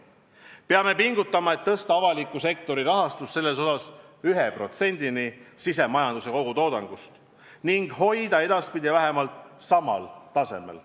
Peame pingutama, et tõsta avaliku sektori rahastus selles osas 1%-ni sisemajanduse kogutoodangust ning hoida edaspidi vähemalt samal tasemel.